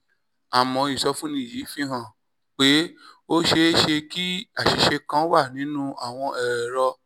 àmọ́ ìsọfúnni yìí fi hàn pé ó ṣeé ṣe kí àṣìṣe kan wà nínú àwọn ẹ̀rọ